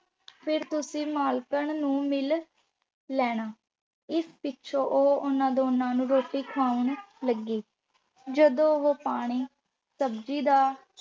ਫਿਰ ਤੁਸੀਂ ਮਾਲਕਣ ਨੂੰ ਮਿਲ ਲੈਣਾ। ਇਸ ਪਿੱਛੋਂ ਉਹ ਉਹਨਾਂ ਦੋਨਾਂ ਨੂੰ ਰੋਟੀ ਖੁਆਉਣ ਲੱਗੀ। ਜਦੋਂ ਉਹ ਪਾਣੀ, ਸਬਜ਼ੀ ਜਾਂ